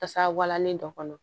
Tasa walanin dɔ kɔnɔ